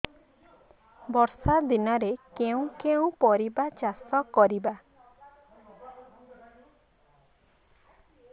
ବର୍ଷା ଦିନରେ କେଉଁ କେଉଁ ପରିବା ଚାଷ କରିବା